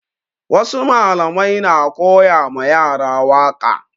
Wasu malamai na koya ma yara waƙa